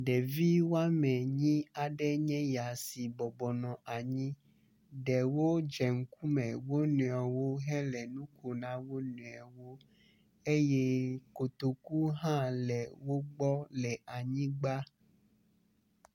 Ɖevi woame enyi aɖe enye ya si bɔbɔnɔ anyi, ɖewo dze ŋkume wonɔɛwo hele nuko na wonɔɛwo eye kotoku hã le wogbɔ le anyigba.